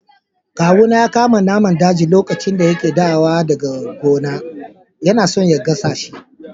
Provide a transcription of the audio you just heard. Kawu na ya kama naman daji lokacin da yana dawo gona. Yana so ya gasa shi.